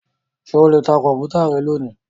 Ṣé o lè ta Kọ̀m̀pútà rẹ lónìí?